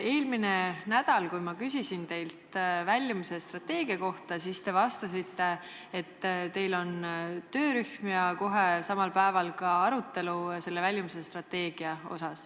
Eelmine nädal, kui ma küsisin teilt väljumisstrateegia kohta, siis te vastasite, et teil on töörühm ja kohe samal päeval ka arutelu selle üle.